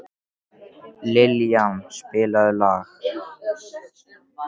Liljan, spilaðu lag.